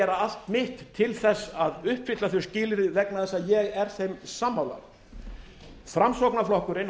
allt mitt til þess að uppfylla þau skilyrði vegna þess að ég er þeim sammála framsóknarflokkurinn